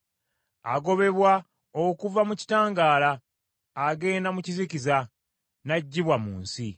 Agobebwa okuva mu kitangaala, agenda mu kizikiza n’aggyibwa mu nsi.